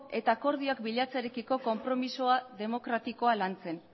eta akordioak bilatzearekiko konpromisoa demokratikoa lantzen